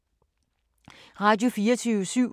Radio24syv